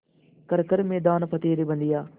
कर हर मैदान फ़तेह रे बंदेया